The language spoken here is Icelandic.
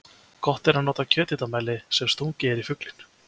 Gott er að nota kjöthitamæli sem stungið er í fuglinn.